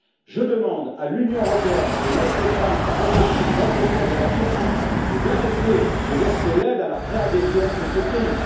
Je demande à l'Union européenne de mettre fin au processus d'adhésion de la Turquie et d'arrêter de verser l'aide à la préadhésion de ce pays.